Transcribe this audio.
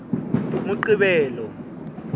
moqebelo